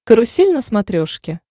карусель на смотрешке